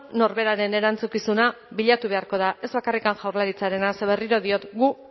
norberaren erantzukizuna bilatu beharko da ez bakarrik jaurlaritzarena ze berriro diot gu